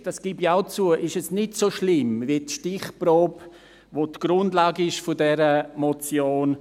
Vielleicht – das gebe ich auch zu – ist es nicht so schlimm wie die Stichprobe ergeben hat, die die Grundlage ist für diese Motion.